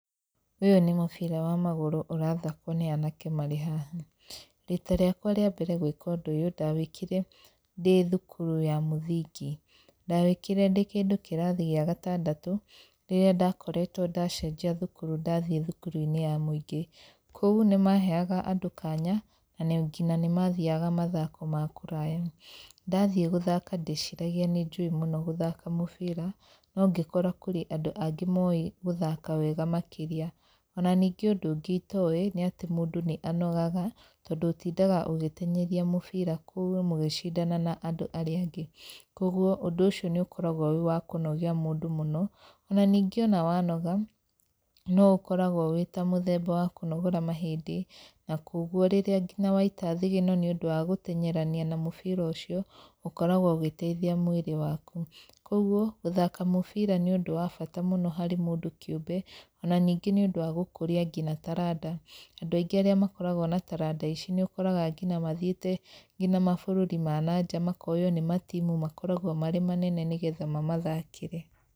Ũyũ nĩ mũbĩra wa magũru ũrathakwo nĩ anake marĩ haha, rita rĩakwa rĩa mbere gũĩka ũndũ ũyũ, ndawĩkire ndĩ thukuru ya mũthingi. Ndawĩkire ndĩkĩndũ kĩrathi gĩa gatandatũ, rĩrĩa ndakorirwo ndacenjia thukuru ndathiĩ thukuru-inĩ ya mũingĩ. Kũu nĩ maheyaga andũ kanya, na ngina nĩ mathiaga mathako ma kũraya. Ndathiĩ gũthaka ndeciragia nĩ njũĩ mũno gũthaka mũbira, no ngĩkora kwĩna andũ angĩ moĩ gũthaka mũbira makĩria. Ona nĩngĩ ũndũ ũngĩ itoĩ, nĩ atĩ mũndũ nĩ anogaga, tondũ ũtindaga ũgĩteng'eria mũbira kũu mũgĩcindanaga na arĩa angĩ. Koguo ũndũ ũcio nĩ ũkoragwo wa kũnogia mũndũ mũno. Onaningĩ wanoga, nĩ ũkoragwo wĩta mũthemba wa kũnogora mahĩndĩ, na koguo waita thigino nĩ ũndũ wa gũteng'erania na mũbira ũcio, ũkoragwo ũgĩteithia mwĩrĩ waku. Koguo guthaka mũbira nĩ ũndũ wa bata harĩ mũndũ kĩũmbe, onaningĩ nĩ ũndũ wa gũkũria nginya taranda. Andũ arĩa aingĩ makoragwo na taranda ici makoragwo mathiĩte nginya mabũrũri ma nanja makoywo nĩ matimu makoragwo marĩ manene nĩguo mamathakĩre.